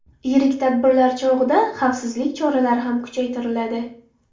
Yirik tadbirlar chog‘ida xavfsizlik choralari ham kuchaytiriladi.